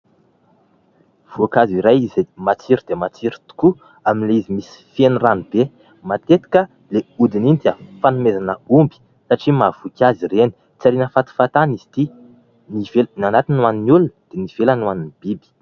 voankazo iray izay matsiro dia matsiro tokoa amin'ilay izy misy feno ranobe; matetika ilay hodiny iny dia fanomezana omby satria mahavoky azy ireny ;tsy ariana fahatany izy ity, ny anatiny ho an'ny olona dia ny ivelany ho an'ny biby